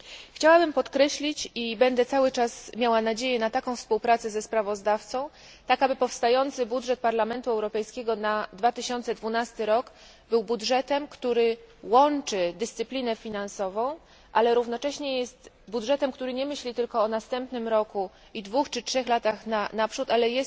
Chciałabym podkreślić, że będę cały czas miała nadzieję na taką współpracę ze sprawozdawcą, aby powstający budżet Parlamentu Europejskiego na 2012 rok był budżetem, który cechuje dyscyplina finansowa, ale równocześnie takim, który nie myśli tylko o następnym roku i 2 czy 3 latach naprzód, ale